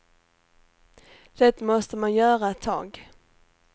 Det måste man göra ett tag.